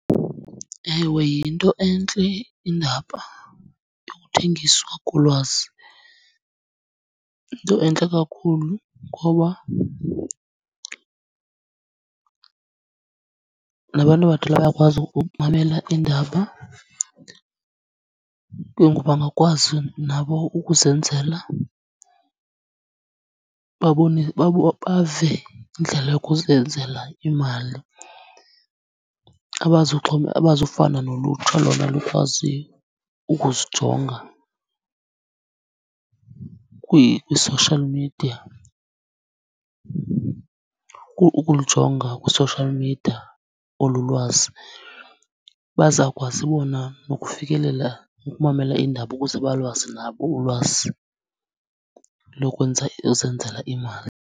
Ewe, yinto entle indaba yokuthengiswa kolwazi. Yinto entle kakhulu, ngoba nabantu abadala bayakwazi ukumamela iindaba, ke ngoku bangakwazi nabo ukuzenzela bave indlela yokuzenzela imali. Abazufana nolutsha lona lukwaziyo ukuzijonga kwi-social media, ukulijonga kwi-social media olu lwazi, bazawukwazi bona nokufikelela ukumamela iindaba ukuze balwazi nabo ulwazi lokwenza lozenzela imali.